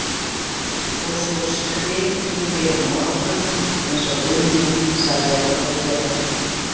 Og svo skrytum við á morgun eins og Immi sagði okkur að gera